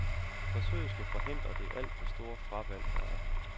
Forsøget skal forhindre det alt for store frafald, der er.